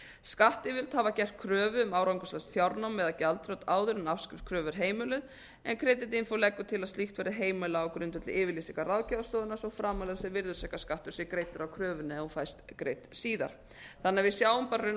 skattyfirvöld hafa gert kröfu um árangurslaust fjárnám eða gjaldþrot áður en afskrift kröfu er heimiluð en creditinfo leggur til að slíkt verði heimilað á grundvelli yfirlýsingar ráðgjafarstofunnar svo framarlega sem virðisaukaskattur sé greiddur af kröfunni ef hún fæst greidd síðar þannig að við sjáum bara raunar á